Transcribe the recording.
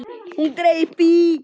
Hún greip í